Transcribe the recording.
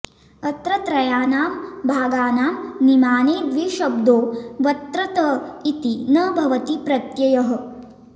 अत्र त्रयाणां भागानां निमाने द्विशब्दो वत्र्तत इति न भवति प्रत्ययः